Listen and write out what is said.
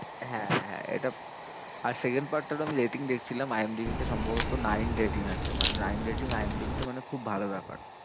হ্যাঁ হ্যাঁ এটা আর second part টারও আমি rating দেখছিলাম IMDB তে সম্ভবত nine rating আছে। মানে nine rating IMDB তে মানে খুব ভালো ব্যাপার।